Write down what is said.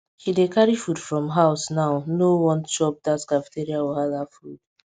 she dey carry food from house now no want chop that cafeteria wahala food